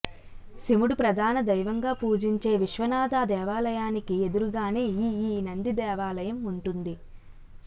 శివుడు ప్రధాన దైవంగా పూజించే విశ్వనాథ దేవాలయానికి ఎదురుగానే ఈ ఈ నంది దేవాలయం ఉంటుంది